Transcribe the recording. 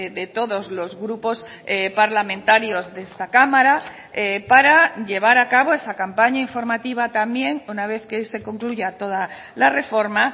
de todos los grupos parlamentarios de esta cámara para llevar a cabo esa campaña informativa también una vez que se concluya toda la reforma